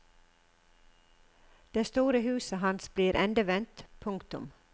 Det store huset hans blir endevendt. punktum